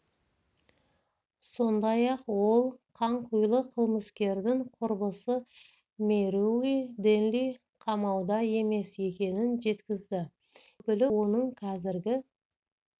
сондай-ақ ол қанқұйлы қылмыскердің құрбысы мэрилу дэнли қамауда емес екенін жеткізді дегенмен өкілі оның қазіргі